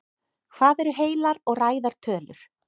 Hvað eru heilar og ræðar tölur?